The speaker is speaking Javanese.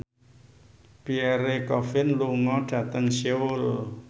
Pierre Coffin lunga dhateng Seoul